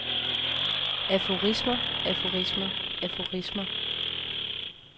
aforismer aforismer aforismer